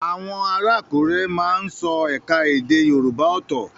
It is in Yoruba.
Àwọn ará Àkúrẹ́ má ń sọ ẹ̀ka èdè Yorùbá ọ́tọ́